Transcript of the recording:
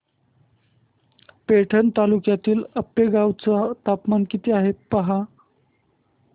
पैठण तालुक्यातील आपेगाव चं तापमान किती आहे पहा